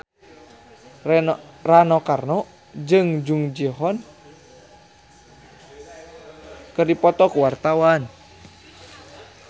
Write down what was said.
Rano Karno jeung Jung Ji Hoon keur dipoto ku wartawan